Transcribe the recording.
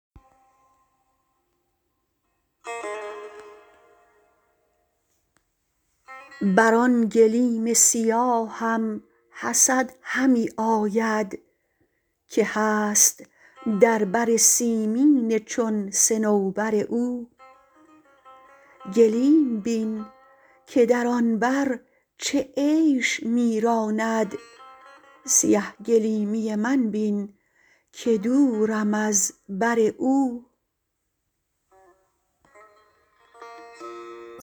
بر آن گلیم سیاهم حسد همی آید که هست در بر سیمین چون صنوبر او گلیم بین که در آن بر چه عیش می راند سیه گلیمی من بین که دورم از بر او